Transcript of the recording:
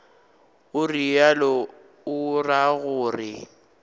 o realo o ra gore